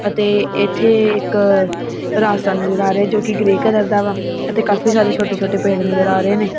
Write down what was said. ਅਤੇ ਇੱਥੇ ਇੱਕ ਰਾਸਤਾ ਨਜ਼ਰ ਆ ਰਿਹਾ ਹੈ ਜੋਕਿ ਗ੍ਰੇਯ ਕਲਰ ਦਾ ਵਾ ਅਤੇ ਕਾਫੀ ਸਾਰੇ ਛੋਟੇ ਛੋਟੇ ਪੇੜ ਨਜ਼ਰ ਆ ਰਹੇ ਨੇਂ।